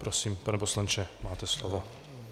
Prosím, pane poslanče, máte slovo.